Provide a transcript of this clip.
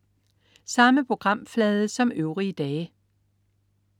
Samme programflade som øvrige dage